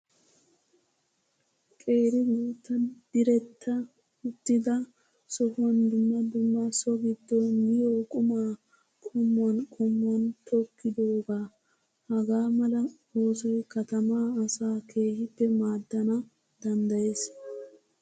Qeeri guutta diretta uttida sohuwan dumma dumma so giddon miyoo qumaa qummuwan qommuwan tokkidoogaa. Hagaa mala oosoyi katamaa asaa kehippe maaddana danddayes.